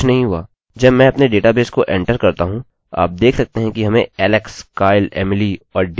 जब मैं अपने डेटाबेस को एंटर करता हूँ आप देख सकते हैं कि हमें alex kyle emily और dale मिला